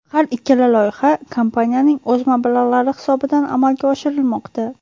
Har ikkala loyiha kompaniyaning o‘z mablag‘lari hisobidan amalga oshirilmoqda.